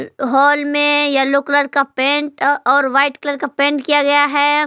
हाल में yellow colour का paint और व्हाइट कलर का पेंट किया गया है।